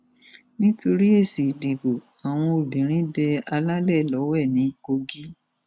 nítorí èsì ìdìbò àwọn obìnrin bẹ alálẹ lọwẹ ní kogi